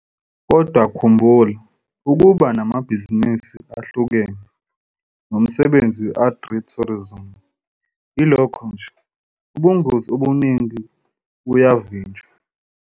Kodwa khumbula, ukuba namabhizinisi ahlukene, nomsebenzi we-agritourism ilokho nje, ubungozi obuningi buyavinjelwa.